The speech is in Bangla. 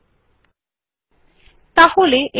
এই বিকল্পটি বড় আউটপুট সংগ্রহ সহজ করে তোলে